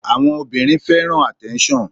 Àwọn obìnrin fẹ́ràn attention.